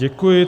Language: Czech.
Děkuji.